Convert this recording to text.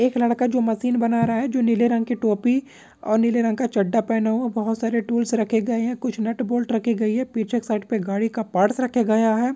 एक लड़का जो मशीन बना रहा है जो नीले रंग की टोपी और नीले रंग का चड्डा पहना हुआ है बहुत सारे टूल्स रखे गए हैं कुछ नट बोल्ट रखे गए हैं पीछे एक साइड पर गाड़ी का पार्ट्स रखा गया है।